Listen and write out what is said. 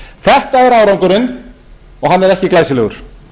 þetta er árangurinn og hann er ekki glæsilegur